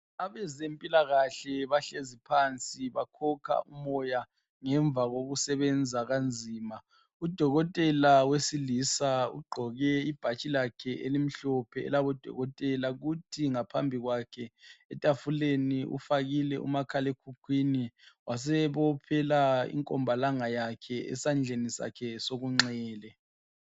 Abezempilakahle bahlezi phansi bakhokha umoya ngemva kokusebenza kanzima udokotela wesilisa ugqoke ibhatshi lakhe elimhlophe elabodokotela kuthi ngaphambi kwakhe etafuleni ufakile umakhala ekhukhwini wasebophela inkombalanga yakhe esandleni sakhe sokunxele.